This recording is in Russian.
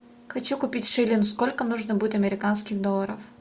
хочу купить шиллинг сколько нужно будет американских долларов